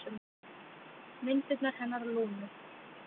Myndirnar hennar Lúnu.